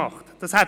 Wahlrecht: